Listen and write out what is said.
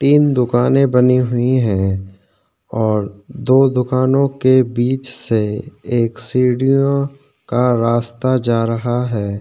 तीन दुकान बनी हुई है और दो दुकानों के बीच से एक सीढ़यों का रस्ता जा रहा है।